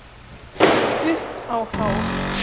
Upp á hár.